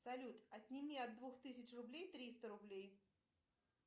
салют отними от двух тысяч рублей триста рублей